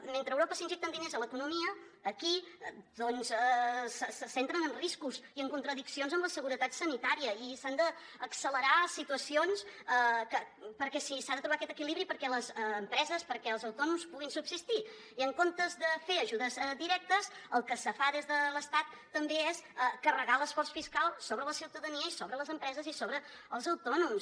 mentre a europa s’injecten diners a l’economia aquí doncs se centren en riscos i en contradiccions amb la seguretat sanitària i s’han de accelerar situacions perquè s’ha de trobar aquest equilibri perquè les empreses perquè els autònoms puguin subsistir i en comptes de fer ajudes directes el que se fa des de l’estat també és carregar l’esforç fiscal sobre la ciutadania i sobre les empreses i sobre els autònoms